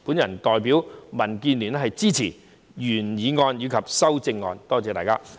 我代表民建聯支持原議案及修正案，多謝大家。